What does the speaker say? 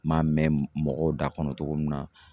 N m'a mɛn mɔgɔw da kɔnɔ togo min na